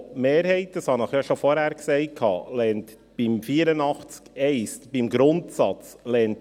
Die FiKo-Mehrheit – dies sagte ich Ihnen vorhin schon – lehnt die Anträge zu Artikel 84 Absatz 1 im Grundsatz ab.